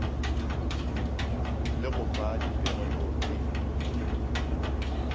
le go fa dipegelo e